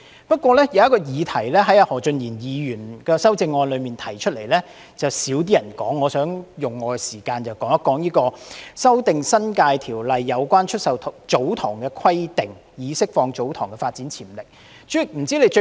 不過，在何俊賢議員的修正案中，有一項議題較少人談及，我想用我的發言時間討論"修訂《新界條例》有關出售祖堂地的規定，以釋放祖堂地的發展潛力"。